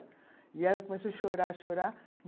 E ela começou a chorar, chorar.